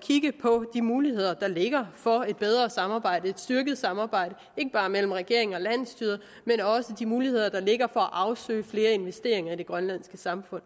kigge på de muligheder der ligger for et bedre samarbejde et styrket samarbejde mellem regeringen og landsstyret men også de muligheder der ligger for at afsøge flere investeringer i det grønlandske samfund